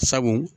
Sabu